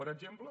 per exemple